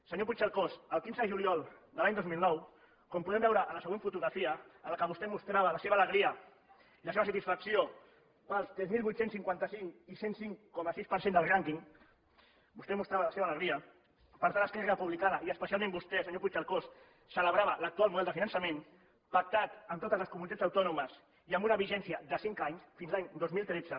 senyor puigcercós el quinze de juliol de l’any dos mil nou com podem veure en la següent fotografia en què vostè mostrava la seva alegria i la seva satisfacció pels tres mil vuit cents i cinquanta cinc i cent i cinc coma sis per cent del rànquing vostè mostrava la seva alegria per tant esquerra republicana i especialment vostè senyor puigcercós celebrava l’actual model de finançament pactat amb totes les comunitats autònomes i amb una vigència de cinc anys fins l’any dos mil tretze